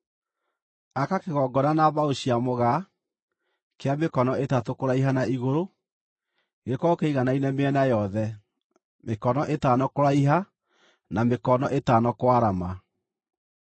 “Aka kĩgongona na mbaũ cia mũgaa, kĩa mĩkono ĩtatũ kũraiha na igũrũ; gĩkorwo kĩiganaine mĩena yothe, mĩkono ĩtano kũraiha na mĩkono ĩtano kwarama.